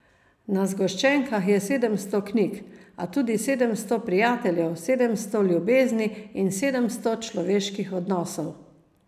Na zgoščenkah je sedemsto knjig, a tudi sedemsto prijateljev, sedemsto ljubezni in sedemsto človeških odnosov.